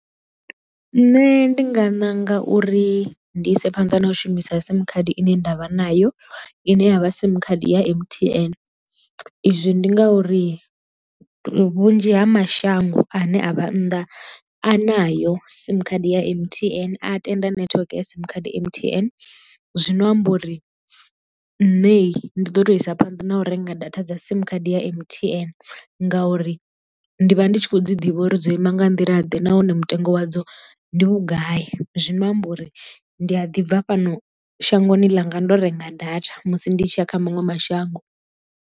Nṋe ndi nga ṋanga uri ndi ise phanḓa na u shumisa sim khadi ine ndavha nayo i ne ya vha sim khadi ya M_T_N izwi ndi ngauri vhunzhi ha mashango ane a vha nnḓa a nayo sim khadi ya M_T_N a tenda network ya sim khadi M_T_N, zwino amba uri nṋe ndi ḓo tou isa phanḓa na u renga data dza sim khadi ya M_T_N ngauri ndi vha ndi tshi khou dzi ḓivha uri dzo ima nga nḓila ḓe nahone mutengo wadzo ndi vhugai zwino amba uri ndi a ḓi bva fhano shangoni ḽa nga ndo renga data musi ndi tshi ya kha maṅwe mashango.